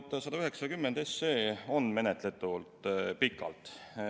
Eelnõu 190 on menetletud pikalt.